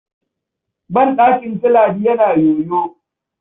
Banɗakin su Ladi yana yoyo.